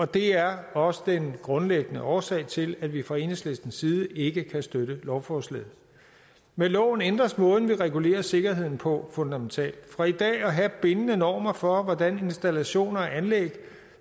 det er også den grundlæggende årsag til at vi fra enhedslistens side ikke kan støtte lovforslaget med loven ændres måden vi regulerer sikkerheden på fundamentalt fra i dag at have bindende normer for hvordan installationer og anlæg